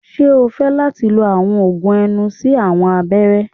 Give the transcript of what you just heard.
Ṣe o fẹ lati lo awọn oogun ẹnu si awọn abẹrẹ?